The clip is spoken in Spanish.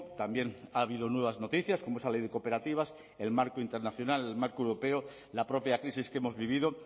también ha habido nuevas noticias como esa ley de cooperativas el marco internacional el marco europeo la propia crisis que hemos vivido